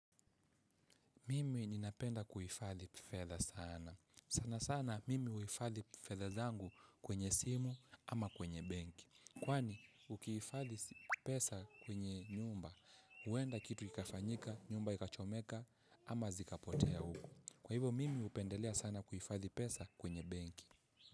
Mimi ninapenda kuifathi fedha sana. Sana sana mimi huifadhi fedha zangu kwenye simu ama kwenye benki. Kwani ukihifadhi pesa kwenye nyumba, huenda kitu ikafanyika, nyumba ikachomeka ama zikapotea huku. Kwa hivyo mimi hupendelea sana kuhifadhi pesa kwenye benki.